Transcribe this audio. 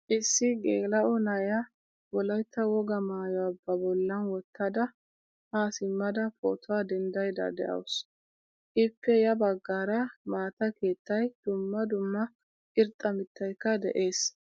Issi gelao na'iyaa wolaytta wogaa maayuwaa ba bollan wottada ha simmada pootuwaa denddaydda deawusu. Ippe ya baggaara maataa keettay, dumma dumma irxxa mittaykka de'ees.